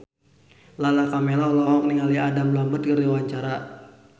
Lala Karmela olohok ningali Adam Lambert keur diwawancara